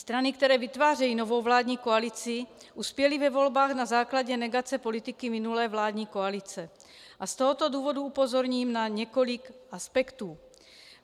Strany, které vytvářejí novou vládní koalici, uspěly ve volbách na základě negace politiky minulé vládní koalice a z tohoto důvodu upozorním na několik aspektů.